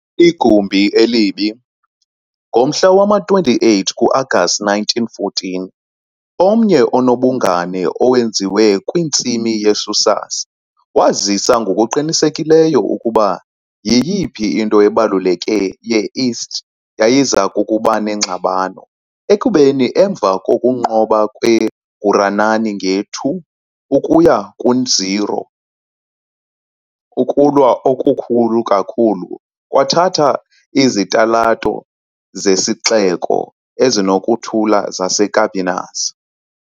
Igumbi elibi, ngomhla wama-28 ku-Agasti 1914, omnye onobungane owenziwe kwintsimi ye-Sousas, wazisa ngokuqinisekileyo ukuba yiyiphi into ebaluleke ye-East yayiza kuba neengxabano, ekubeni emva kokunqoba kweGuranani nge-2 ukuya ku-0, Ukulwa okukhulu kakhulu kwathatha izitalato zesixeko ezinokuthula zaseCampinas.